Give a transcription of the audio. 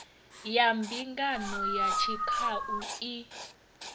ya mbingano ya tshikhau i